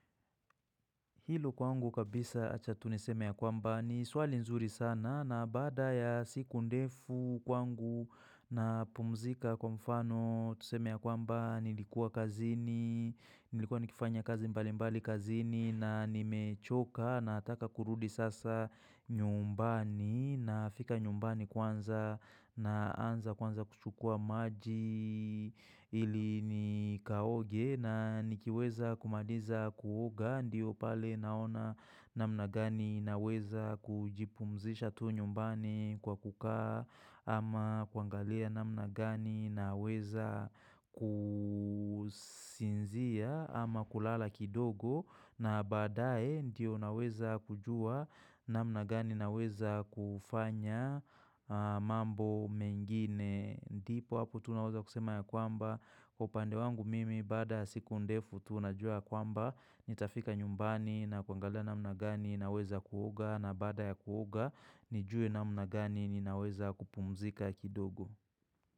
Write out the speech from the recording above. Hilo kwangu kabisa acha tu niseme ya kwamba ni swali nzuri sana na baada ya siku ndefu kwangu na pumzika kwa mfano tuseme ya kwamba nilikuwa kazini, nilikuwa nikifanya kazi mbali mbali kazini na nimechoka nataka kurudi sasa nyumbani nafika nyumbani kwanza na anza kwanza kuchukua maji ili nikaoge na nikiweza kumaliza kuoga ndio pale Naona namna gani naweza kujipumzisha tu nyumbani kwa kukaa ama kuangalia namna gani naweza kusinzia ama kulala kidogo na baadae ndio naweza kujua namna gani naweza kufanya mambo mengine. Ndipo hapo tunaweza kusema ya kwamba Kwa upande wangu mimi baada ya siku ndefu tunajua ya kwamba Nitafika nyumbani na kuangalia namna gani naweza kuoga na baada ya kuoga nijue namna gani ninaweza kupumzika kidogo.